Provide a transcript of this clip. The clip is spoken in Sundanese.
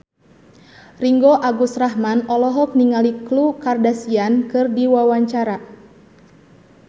Ringgo Agus Rahman olohok ningali Khloe Kardashian keur diwawancara